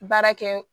Baara kɛ